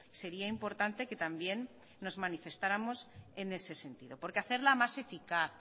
sería importante que también nos manifestáramos en ese sentido porque hacerla más eficaz